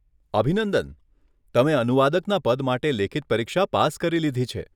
અભિનંદન! તમે અનુવાદકના પદ માટે લેખિત પરીક્ષા પાસ કરી લીધી છે.